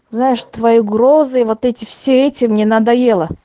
знаешь твои угрозы вот эти все эти мне надоело